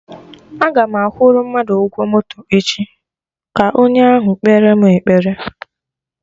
Agam akwụrụ mmadụ ụgwọ moto echi, ka onye ahụ kpere mụ ekpere